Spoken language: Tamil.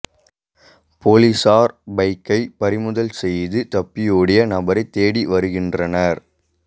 போலீஸாா் பைக்கை பறிமுதல் செய்து தப்பியோடிய நபரை தேடி வருகின்றனா்